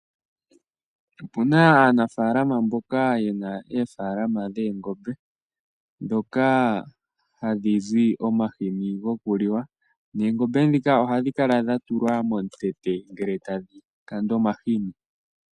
Opena aanafalama mboka yena eefalama dhoongombe dhoka hadhi zi omashini gokuliwa noongombe dhika ohadhi kala dhatulwa momutete ngele tadhi kandwa omashini.